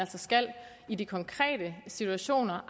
i de konkrete situationer